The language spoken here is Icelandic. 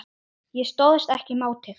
Ég stóðst ekki mátið